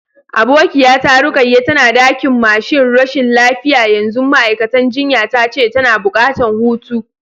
Abokiya ta Rukayya tana dakin masun rashin lafiya yanzu, ma'aikatan jinya ta ce tana buƙatan hutu.